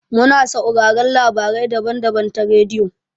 Mu na sauraron labarai daban-daban ta rediyo.